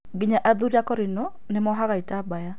Nginya athuri akũrinũ nĩmohaga itambaya